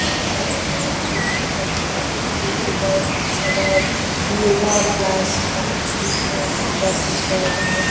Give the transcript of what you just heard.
একটা dancing academy এখানে বাচ্চাদের বড়োদের সবার ইয়োগা প্লাস ডানসিং দের প্রাকটিস করানো হয়।